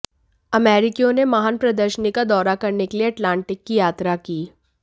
अमेरिकियों ने महान प्रदर्शनी का दौरा करने के लिए अटलांटिक की यात्रा की